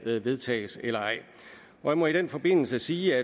vedtages eller ej jeg må i den forbindelse sige